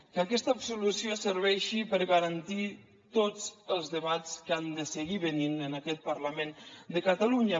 que aquesta absolució serveixi per garantir tots els debats que han de seguir venint en aquest parlament de catalunya